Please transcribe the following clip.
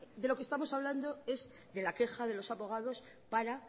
de lo que estamos hablando es de la queja de los abogados para